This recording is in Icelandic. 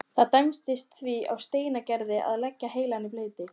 Það dæmdist því á Steingerði að leggja heilann í bleyti.